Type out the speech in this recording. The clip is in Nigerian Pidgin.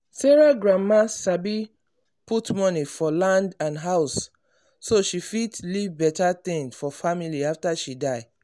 sarah grandma sabi put money for land and house so she fit leave better thing for family after she die.